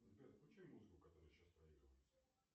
сбер отключи музыку которая сейчас проигрывается